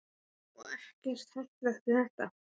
Magnús: Og ekkert hættulegt við þetta?